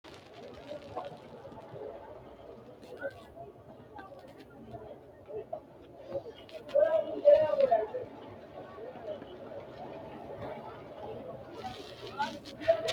kuni dodaanchi gobbasi ayyimma leellidhate kalqete deerrinni heewote dodanshora jawaantete dodatenni gobbasi ayyimaha maleete xawisino jawaata dodaanchoti. jawaata gobbasi baxxilaanchoti.